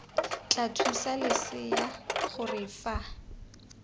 tla thusa losea gore fa